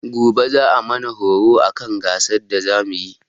Gobe za'a mana horo akan gasan da za muyi.